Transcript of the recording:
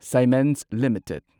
Siemens limited